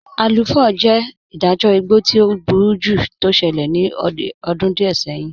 Aluu 4 jẹ́ ìdájọ̀ ìgbọ̀ tí ọ̀ búrújú tó ṣẹlẹ̀ ní ọ̀dún díẹ̀ sẹ̀hìn.